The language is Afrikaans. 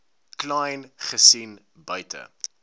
kleyn gesien buite